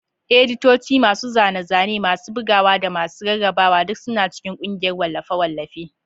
Editoci, masu zane-zane, masu bugawa, da masu rarrabawa duk suna cikin ƙungiyar wallafe-wallafe.